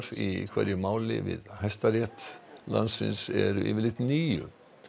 í hverju máli við Hæstarétt landsins eru yfirleitt níu